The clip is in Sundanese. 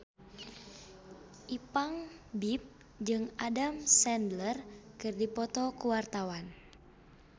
Ipank BIP jeung Adam Sandler keur dipoto ku wartawan